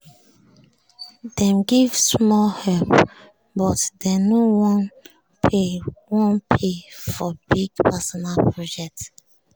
dem give small help but dem no wan pay wan pay for big personal project